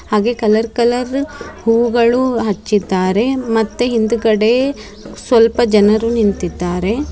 ಹಾಗೆ colour colour ಹೂಗಳನ್ನು ಹಚ್ಚಿದ್ದಾರೆ ಮತ್ತೆ ಹಿಂದಗಡೆ ಸ್ವಲ್ಪ ಜನರು ನಿಂತಿದ್ದಾರೆ.